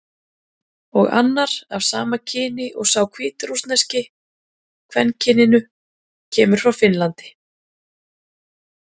Og annar, af sama kyni og sá hvítrússneski, kvenkyninu, kemur frá Finnlandi.